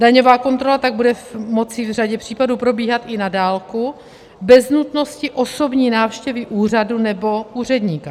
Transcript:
Daňová kontrola tak bude moci v řadě případů probíhat i na dálku bez nutnosti osobní návštěvy úřadu nebo úředníka.